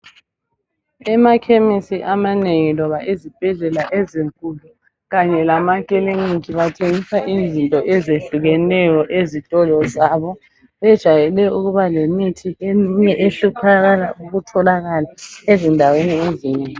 Emakhemisi amanengi loba ezibhedlela ezinkulu kanye lamakilinika bathengisa izinto eyehlukeneyo ezitolo zabo bejayele ukuba lemithi eminye ehluphakala ukutholakala ezindaweni ezinengi.